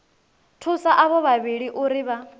thusa avho vhavhili uri vha